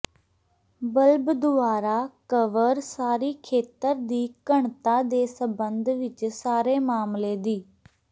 bulb ਦੁਆਰਾ cover ਸਾਰੀ ਖੇਤਰ ਦੀ ਘਣਤਾ ਦੇ ਸਬੰਧ ਵਿਚ ਸਾਰੇ ਮਾਮਲੇ ਦੀ